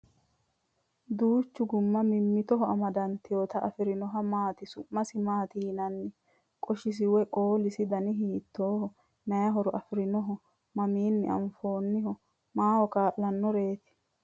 Duucha gumma mimmitoho amadanteewota afirinohu maati? Su'masi maati yinanni? Qoshisi woy qoolisi dani hiittooho? Maay horo afirinnoho? Mamiinni afi'nanniho? Maaho kaa'lannoreeti?